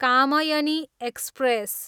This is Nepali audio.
कामायनी एक्सप्रेस